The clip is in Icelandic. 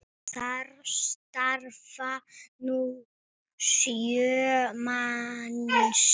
Þar starfa nú sjö manns.